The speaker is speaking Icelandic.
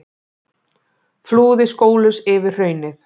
Flúði skólaus yfir hraunið